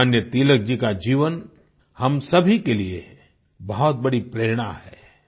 लोकमान्य तिलक जी का जीवन हम सभी के लिए बहुत बड़ी प्रेरणा है